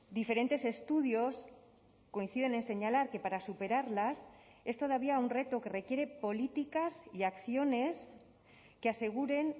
diferentes estudios coinciden en señalar que para superarlas es todavía un reto que requiere políticas y acciones que aseguren